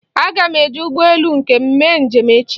Aga m eji ụgbọelu nke m mee njem echi.